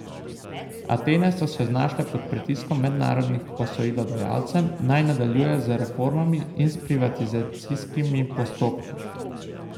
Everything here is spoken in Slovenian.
Atene so se znašle pod pritiskom mednarodnih posojilodajalcem, naj nadaljujejo z reformami in s privatizacijskimi postopki.